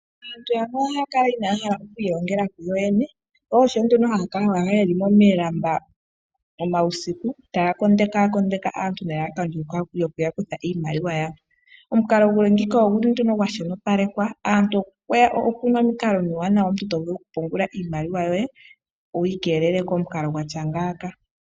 Aantu yamwe oha ya kala inaya hala oku ilongela kuyo yene , sho osho nee ha ya kala yeli mo milamba uusiku ta ya kondeke aantu nelalakano lyokuya kutha iimaliwa yawo. Omukalo nguka ogu li nduno gwa shonopalekwa . Oku na omukalo omuwanawa omuntu to vulu okupungula iimaliwa yoye wi ikeelele komukalo gwatya ngaaka.